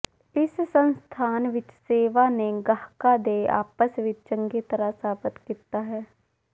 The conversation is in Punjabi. ਇਸ ਸੰਸਥਾਨ ਵਿੱਚ ਸੇਵਾ ਨੇ ਗਾਹਕਾਂ ਦੇ ਆਪਸ ਵਿੱਚ ਚੰਗੀ ਤਰ੍ਹਾਂ ਸਾਬਤ ਕੀਤਾ ਹੈ